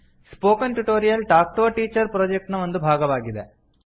spoken tutorial talk to a teacher project ನ ಒಂದು ಭಾಗವಾಗಿದೆ